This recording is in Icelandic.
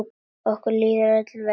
Okkur líður öllum vel.